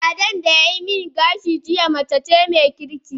Ladan da yayi min gashi jiya mace ce mai kirki